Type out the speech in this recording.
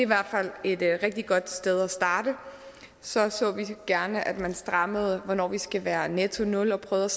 hvert fald et rigtig godt sted at starte så så vi gerne at man strammede hvornår vi skal være i nettonul og prøvede